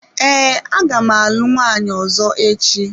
Ee, aga m alụ nwaanyi ọzọ echi.